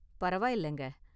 பரவாயில்லங்க.